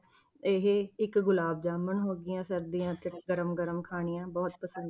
ਇਹ ਇੱਕ ਗੁਲਾਬ ਜਾਮਣ ਹੋ ਗਈਆਂ ਸਰਦੀਆਂ 'ਚ ਗਰਮ ਗਰਮ ਖਾਣੀਆਂ ਬਹੁਤ ਪਸੰਦ।